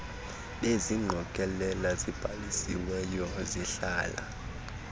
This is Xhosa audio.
bezingqokelela zibhalisiweyo ezihlala